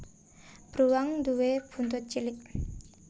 Bruwang nduwé buntut cilik